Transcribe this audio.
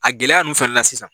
A gɛlɛya ninnu fɛnɛ na sisan